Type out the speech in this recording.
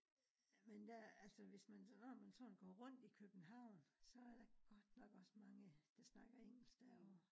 Men da altså hvis når man sådan går rundt i københavn så der godt nok også mange der snakker engelsk derovre